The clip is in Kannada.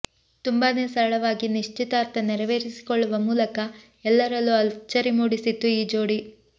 ತುಂಬಾನೇ ಸರಳವಾಗಿ ನಿಶ್ಚಿತಾರ್ಥ ನೆರವೇರಿಸಿಕೊಳ್ಳುವ ಮೂಲಕ ಎಲ್ಲರಲ್ಲೂ ಅಚ್ಚರಿ ಮೂಡಿಸಿತ್ತು ಈ ಜೋಡಿ